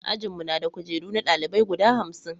ajin mu na da kujeru na dalibai guda hamsin